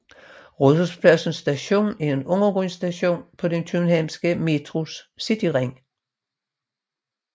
Rådhuspladsen Station er en undergrundsstation på den københavnske Metros Cityring